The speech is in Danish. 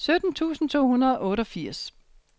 sytten tusind to hundrede og otteogfirs